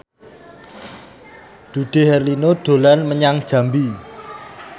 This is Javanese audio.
Dude Herlino dolan menyang Jambi